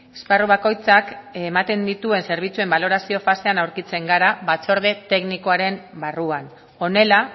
esparru bakoitzak ematen dituen zerbitzuen balorazio fasean aurkitzen gara batzorde teknikoaren barruan honela